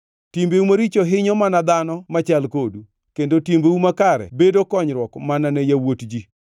Timbeu maricho hinyo mana dhano machal kodu, kendo timbeu makare bedo konyruok mana ne yawuot ji.